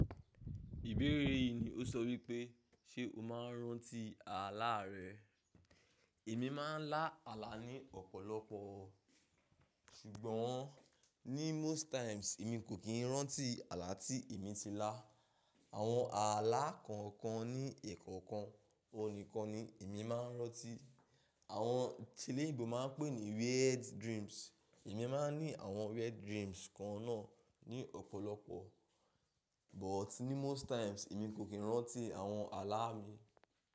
Ìbéèrè yìí ni ó sọ wípé ṣe o máa ń rántí àláà rẹ. Èmi máa ń lá àlá ní ọ̀pọ̀lọpọ̀, ṣùgbọ́n ní most times èmi kò kí ń rántí àlá tí èmi ti lá. Àwọn àlá kan kan ní ekọ̀ọ̀kan ohun nikan ni èmi máa ń rántí. Àwọn ti lé ìbò máa ń pè ní weird dreams. Èmi máa ń ní àwọn weird dreams kan náà ní ọ̀pọ̀lọpọ̀, but ní most times èmi kò kí ń rántí àwọn àlá mi.